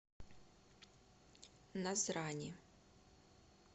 назрани